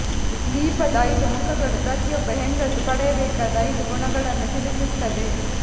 ದೀಪದ ಐದು ಮುಖಗಳು ಪ್ರತಿಯೊಬ್ಬ ಹೆಂಗಸು ಪಡೆಯಬೇಕಾದ ಐದು ಗುಣಗಳನ್ನು ತಿಳಿಸುತ್ತದೆ